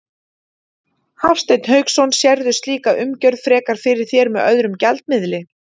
Hafsteinn Hauksson: Sérðu slíka umgjörð frekar fyrir þér með öðrum gjaldmiðli?